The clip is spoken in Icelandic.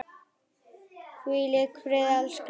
Hvíl í friði elsku frænka.